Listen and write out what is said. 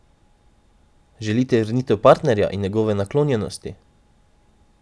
Želite vrnitev partnerja in njegove naklonjenosti?